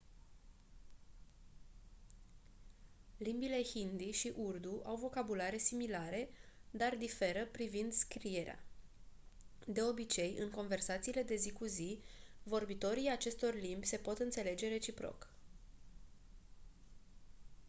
limbile hindi și urdu au vocabulare similare dar diferă privind scriere de obicei în conversațiile de zi cu zi vorbitorii acestor limbi se pot înțelege reciproc